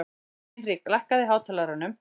Hinrik, lækkaðu í hátalaranum.